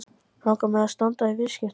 Langar mig að standa í viðskiptum?